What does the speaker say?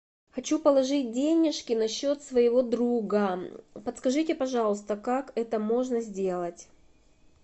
хочу положить денежки на счет своего друга подскажите пожалуйста как это можно сделать